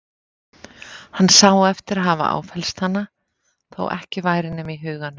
Hann sá eftir að hafa áfellst hana, þó ekki væri nema í huganum.